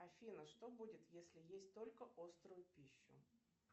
афина что будет если есть только острую пищу